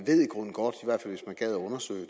gad undersøge